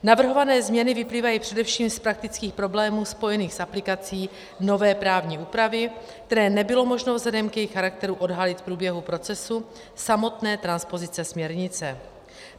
Navrhované změny vyplývají především z praktických problémů spojených s aplikací nové právní úpravy, které nebylo možno vzhledem k jejich charakteru odhalit v průběhu procesu samotné transpozice směrnice.